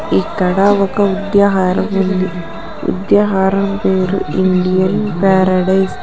ఇక్కడ ఒక ఉద్యహార ఉంది ఉద్యహారం పేరు ఇండియన్ పారడైజ్.